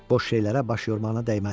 Boş şeylərə baş yormağına dəyməz.